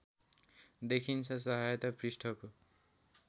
देखिन्छ सहायता पृष्ठको